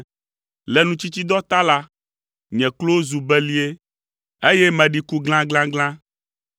Le nutsitsidɔ ta la, nye klowo zu belie, eye meɖi ku glaglaglã.